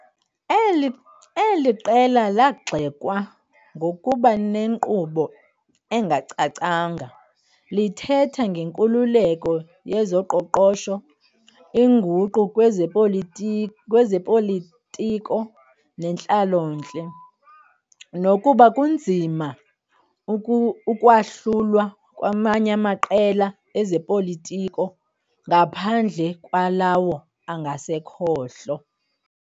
Eli qela lagxekwa ngokuba nenkqubo engacacanga, lithetha ngenkululeko yezoqoqosho, inguqu kwezopolitiko nentlalontle, nokuba kunzima ukwahlula kwamanye amaqela ezopolitiko ngaphandle kwalawo angasekhohlo.